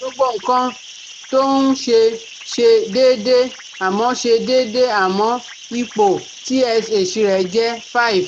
Gbogbo nǹkan tó ń ṣe ṣe déédé, àmọ́ ṣe déédé, àmọ́ ipò TSH rẹ̀ jẹ́ five